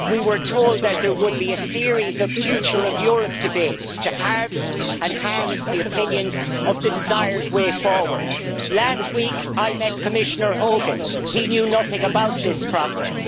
We were told that there would be a series of Future of Europe debates to harvest and harness the opinions of the desired way forward. Last week, I met Commissioner Hogan, and he knew nothing about this process.